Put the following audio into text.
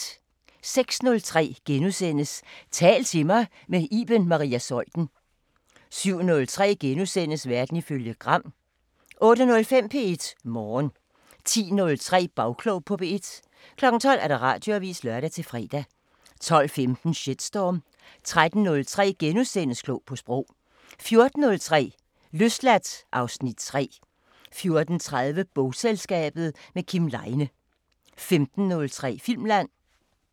06:03: Tal til mig – med Iben Maria Zeuthen * 07:03: Verden ifølge Gram * 08:05: P1 Morgen 10:03: Bagklog på P1 12:00: Radioavisen (lør-fre) 12:15: Shitstorm 13:03: Klog på Sprog * 14:03: Løsladt (Afs. 3) 14:30: Bogselskabet – med Kim Leine 15:03: Filmland